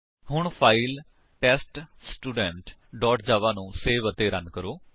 ਹੁਣ file test student Java ਨੂੰ save ਅਤੇ ਰਨ ਕਰੋ